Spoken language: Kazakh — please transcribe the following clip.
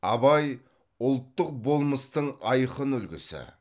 абай ұлттық болмыстың айқын үлгісі